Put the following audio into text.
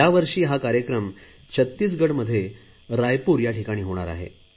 यावर्षी हा कार्यक्रम छत्तीसगडमध्ये रायपूर येथे होणार आहे